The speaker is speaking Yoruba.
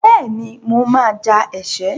Bẹ́ẹ̀ni, mo máa ja ẹ̀ṣẹ́.